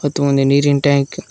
ಮತ್ತು ಒಂದು ನೀರಿನ ಟ್ಯಾಂಕ್ --